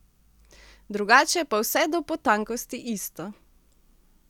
Drugače pa vse do potankosti isto.